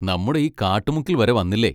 നമ്മുടെ ഈ കാട്ടുമുക്കിൽ വരെ വന്നില്ലേ.